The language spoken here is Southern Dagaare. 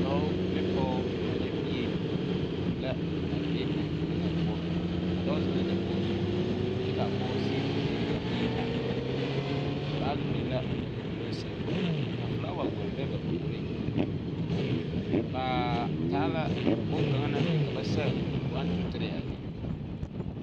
Dɔɔ ne pɔge a de bie la be a enfuoni ŋa poɔ a dɔɔ zeŋ la dakogi zu kyɛ k,a pɔge sigi zeŋ teŋɛ k,a bie are dendeŋ baage biŋ la ba nuduloŋ seŋ ka filawa gɔle be ba puoriŋ bz taa la bone kaŋ naŋ biŋ ka ba sɛge 123 a eŋ.